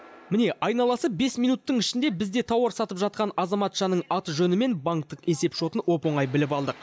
міне айналасы бес минуттың ішінде бізде тауар сатып жатқан азаматшаның аты жөні мен банктік есеп шотын оп оңай біліп алдық